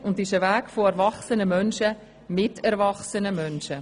Es ist ein Weg erwachsener Menschen mit erwachsenen Menschen.